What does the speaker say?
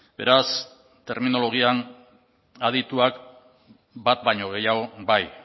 beraz terminologian adituak bat baino gehiago bai